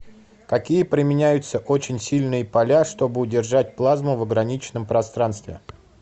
какие применяются очень сильные поля чтобы удержать плазму в ограниченном пространстве